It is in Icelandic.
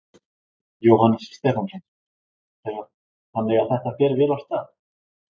Jóhannes Stefánsson: Þannig að þetta fer vel af stað?